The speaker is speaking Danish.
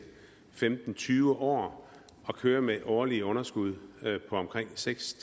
femten til tyve år at køre med årlige underskud på omkring seks